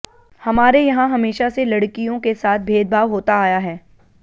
हमारे यहां हमेशा से लड़कियों के साथ भेदभाव होता आया है